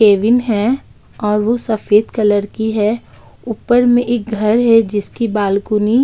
cabin है और वो सफ़ेद कलर की है ऊपर में एक घर है जिसकी बालकोनी --